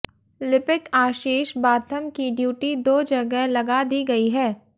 लिपिक आशीष बाथम की ड्यूटी दो जगह लगा दी गई है